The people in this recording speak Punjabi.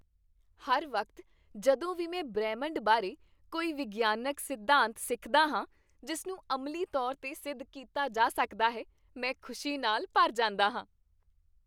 ਹਰ ਵਕਤ ਜਦੋਂ ਵੀ ਮੈਂ ਬ੍ਰਹਿਮੰਡ ਬਾਰੇ ਕੋਈ ਵਿਗਿਆਨਕ ਸਿਧਾਂਤ ਸਿੱਖਦਾ ਹਾਂ ਜਿਸ ਨੂੰ ਅਮਲੀ ਤੌਰ 'ਤੇ ਸਿੱਧ ਕੀਤਾ ਜਾ ਸਕਦਾ ਹੈ, ਮੈਂ ਖੁਸ਼ੀ ਨਾਲ ਭਰ ਜਾਂਦਾ ਹਾਂ।